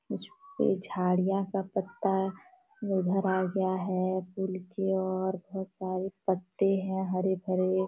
झाड़ियाँ का पत्ता इधर आ गया है पूल की ओर बहुत सारे पत्ते है हरे भरे।